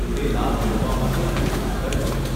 તે લાભ મેળવવા માટે અમુક માપદંડ છે.